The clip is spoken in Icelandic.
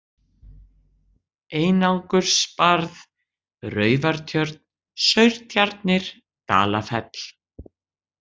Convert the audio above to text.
Einangursbarð, Raufartjörn, Saurtjarnir, Dalafell